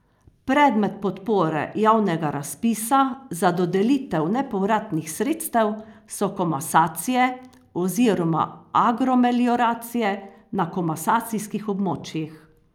Predmet podpore javnega razpisa za dodelitev nepovratnih sredstev so komasacije oziroma agromelioracije na komasacijskih območjih.